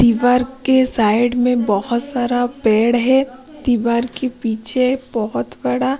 दीवार के साइड में बहुत सारा पेड़ है दीवार के पीछे बहुत बड़ा --